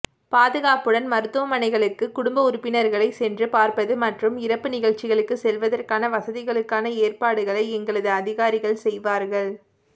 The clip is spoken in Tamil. பாதுகாப்புடன் மருத்துவமனைகளுக்கு குடும்ப உறுப்பினர்களை சென்று பார்ப்பது மற்றும் இறப்பு நிகழ்ச்சிகளுக்கு செல்வதற்கான வசதிகளுக்கான ஏற்பாடுகளை எங்களது அதிகாரிகள் செய்வார்கள்